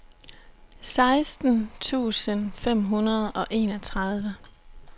seksten tusind fem hundrede og enogtredive